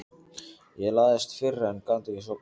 Ég lagðist fyrir en gat ekki sofnað.